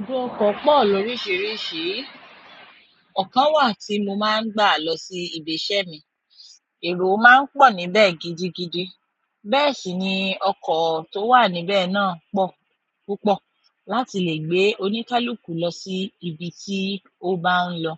Ibùdó ọkọ̀ pọ̀ lóríṣiríṣi, ọ̀kan wà tí mo máa ń gbà lọ sí ibi iṣẹ́ mi, èrò má ń pọ̀ níbẹ̀ gidigidi, bẹ́ẹ̀ sì ni ọkọ̀ tó wà níbẹ̀ náà pọ̀ púpọ̀ láti lè gbé oníkálukú lọ sí ibi tí ó bá ń lọ.